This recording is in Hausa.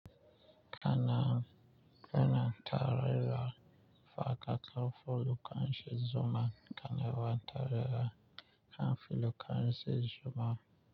Kana muna tarira fa ka ƙaƙaƙa ƙa ƙarshe zuma, kana ba tarira ƙan fili ƙarshe zuma.